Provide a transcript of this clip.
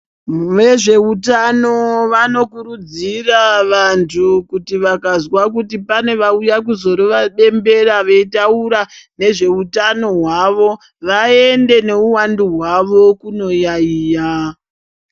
Vezveutano vanokurudzira vantu kuti vakazwa kuti pane vauya kuzorova bembera veitaura nezveutano hwavo, vaende neuwandu hwavo kunoyaiya.